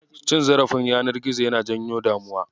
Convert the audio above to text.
Cin zarafin yanar gizo yana janyo damuwa.